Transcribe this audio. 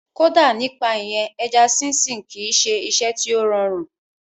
Kódà nípa ìyẹn, ẹja sínsìn kìí ṣe iṣẹ́ tí ó rọrùn